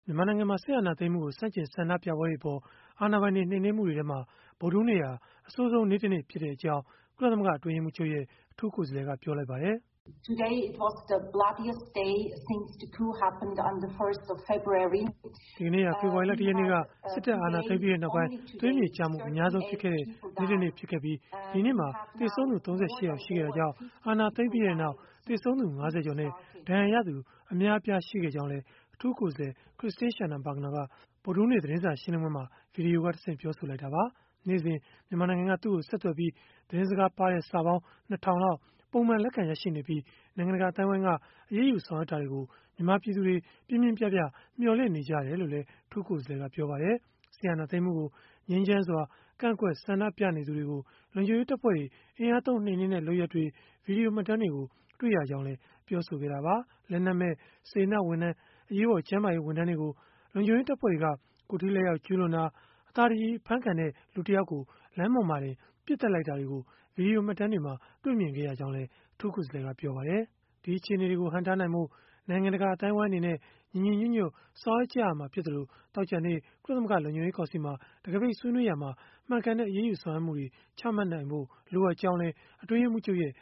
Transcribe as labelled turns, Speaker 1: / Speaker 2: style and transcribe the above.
Speaker 1: မြန်မာနိုင်ငံမှာ စစ်အာဏာသိမ်းမှုကို ဆန့်ကျင်ဆန္ဒပြပွဲတွေအပေါ် အာဏာပိုင်တွေ နှိမ်နင်းမှုတွေထဲမှာ ဗုဒ္ဓဟူးနေ့ဟာ အဆိုးဆုံး နေ့တနေ့ ဖြစ်ခဲ့ကြောင်း ကုလသမဂ္ဂ အတွင်းရေးမှူးချုပ်ရဲ့ အထူးကိုယ်စားလှယ်က ပြောလိုက်ပါတယ်။
Speaker 2: "ဒီကန
Speaker 1: ေ့ဟာ ဖေဖော်ဝါရီလ ၁ ရက်နေ့က စစ်တပ်အာဏာသိမ်းပြီးနောက်ပိုင်း သွေးမြေကျမှု အများဆုံးဖြစ်ခဲ့တဲ့ နေ့တနေ့ ဖြစ်ခဲ့ပြီး ဒီနေ့မှာ သေဆုံးသူ ၃၈ ယောက် ရှိခဲ့တာကြောင့် အာဏာသိမ်းပြီးနောက် သေဆုံးသူ ၅၀ ကျော်နဲ့ ဒဏ်ရာရသူ အများအပြား ရှိခဲ့ကြောင်းလည်း" အထူးကိုယ်စားလှယ် Christine Schraner Burgener က ဗုဒ္ဓဟူးနေ့ သတင်းစာရှင်းလင်းပွဲမှာ ဗွီဒီယိုကတဆင့် ပြောဆိုခဲ့တာပါ။ နေ့စဉ် မြန်မာနိုင်ငံက သူ့ကိုဆက်သွယ်ပြီး သတင်းစကားပါးတဲ့စာ ၂ ထောင်လောက် ပုံမှန် လက်ခံရရှိနေပြီး၊ နိုင်ငံတကာ အသိုင်းအဝန်းက အရေးယူ ဆောင်ရွက်တာတွေကို ပြင်းပြင်းပြပြ မျှော်လင့်နေကြတယ်လို့လည်း အထူးကိုယ်စားလှယ်က ပြောပါတယ်။ စစ်အာဏာသိမ်းမှုကို ငြိမ်းချမ်းစွာ ကန့်ကွက်ဆန္ဒပြနေသူတွေကို လုံခြုံရေးတပ်ဖွဲ့တွေ အင်အားသုံး နှိမ်နင်းတဲ့ လုပ်ရပ်တွေ၊ ဗွီဒီယိုမှတ်တမ်းတွေကို တွေ့ရကြောင်းလည်း ပြောဆိုခဲ့တာပါ။ လက်နက်မဲ့ စေတနာ့ဝန်ထမ်း အရေးပေါ် ကျန်းမာရေး ဝန်ထမ်းတွေကို လုံခြုံရေးတပ်ဖွဲ့တွေက ကိုယ်ထိလက်ရောက် ကျုးလွန်တာ၊ အသာတကြည် အဖမ်းခံတဲ့ လူတယောက်ကို လမ်းပေါ်မှာတင် ပစ်သတ်လိုက်တာတွေကို ဗွီဒီယိုမှတ်တမ်းတွေမှာ တွေ့မြင်ခဲ့ရကြောင်းလည်း အထူးကိုယ်စားလှယ်က ပြောဆိုခဲ့ပါတယ်။ ဒီအခြေအနေတွေကို ဟန့်တားနိုင်ဖို့ နိုင်ငံတကာ အသိုင်းအဝန်းအနေနဲ့ ညီညီညွတ်ညွတ် ဆောင်ရွက်ရမှာဖြစ်သလို၊ သောကြာနေ့ ကုလသမဂ္ဂ လုံခြုံရေးကောင်စီမှာ တံခါးပိတ်ဆွေးနွေးရာမှာ မှန်ကန်တဲ့ အရေးယူဆောင်ရွက်မှုတွေ ချမှတ်နိုင်ဖို့ လိုအပ်ကြောင်းလည်း အတွင်းရေးမှူးချုပ်ရဲ့